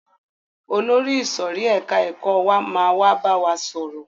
Olórí ìsòrí ẹka ẹ̀kọ́ wa máa wá bá wa sọ̀rọ̀.